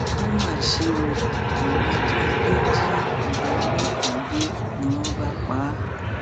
ó mà ṣe o àwọn ajínigbé jí ọgá ọlọpàá gbé ni wọn bá pa á